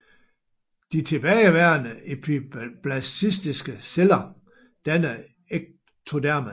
De tilbageværende epiblastiske celler danner ectodermen